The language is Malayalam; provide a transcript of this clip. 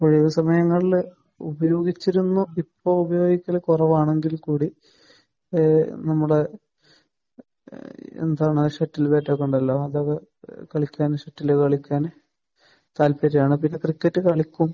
ഒഴിവ് സമയങ്ങളിൽ ഉപയോഗിച്ചിരുന്നു, ഇപ്പോൾ ഉപയോഗിക്കൽ കുറവാണെങ്കിൽ കൂടി ഏഹ് നമ്മുടെ എന്താ ഷട്ടിൽ ബാറ്റ് ഒക്കെ ഉണ്ടല്ലോ. അത് കളിക്കാൻ ഇഷ്ടമാണ് കളിക്കാൻ താല്പര്യമാണ്. പിന്നെ ക്രിക്കറ്റും കളിക്കും.